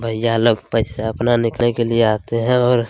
भैया लोग पैसा अपना निखने के लिए आते हैं और--